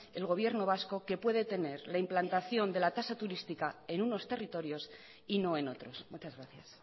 el gobierno vasco que puede tener la implantación de la tasa turística en unos territorios y no en otros muchas gracias